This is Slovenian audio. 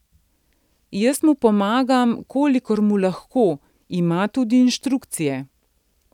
Jaz mu pomagam, kolikor mu lahko, ima tudi inštrukcije.